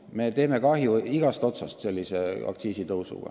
Me teeme sellise aktsiisitõusuga kahju igast otsast.